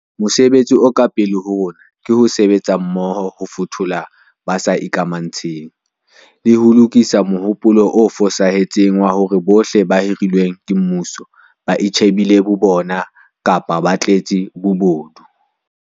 Mosebetsi o ka pele ho rona ke ho sebetsa mmoho ho fothola ba sa ikamantshe ng, le ho lokisa mohopolo o fosahetseng wa hore bohle ba hirilweng mmusong ba itjhe bile bo bona kapa ba tletse bobodu.